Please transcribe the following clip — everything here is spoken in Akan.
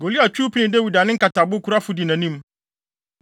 Goliat twiw pinii Dawid a ne nkatabokurafo di nʼanim.